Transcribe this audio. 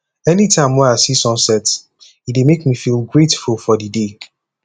anytime wey i see sunset e dey make me feel grateful for di day